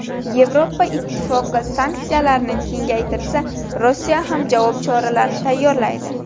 Yevropa Ittifoqi sanksiyalarni kengaytirsa Rossiya ham javob choralarini tayyorlaydi.